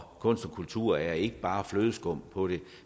kunst og kultur er ikke bare flødeskum på det